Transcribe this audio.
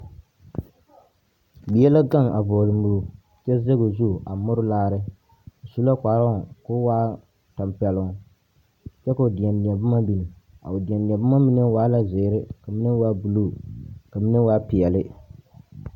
Bie la gaŋe a vͻgele moro kyԑ zԑge o zu a more laare. O su la kparoŋ ka a waa tampԑloŋ, kyԑ ka o deԑdeԑboma biŋ. A o deԑdeԑ boma mine waa la zeere ka mine meŋ waa buluu ka mine waa peԑle.